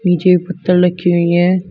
नीचे पत्थल लखी हुई है।